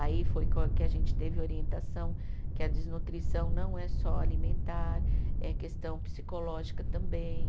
Aí foi que o, que a gente teve orientação que a desnutrição não é só alimentar, é questão psicológica também.